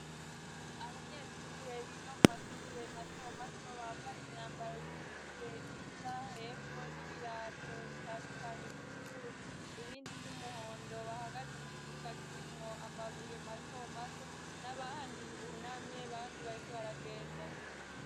Abanyeshure biga mu mashure mato mato bambaye imyambaro y'ishure isa hepfo n'ibirato bitandukanye vy'ubururu ibindi vy'umuhondo bahagaze mu kibuga kirimwo amabuye mato mato n'abandi ibunamye bandi bariko baragenda.